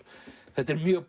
þetta er mjög